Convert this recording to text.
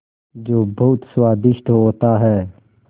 जो बहुत स्वादिष्ट होता है